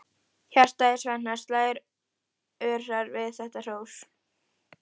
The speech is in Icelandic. Hjartað í Svenna slær örar við þetta hrós.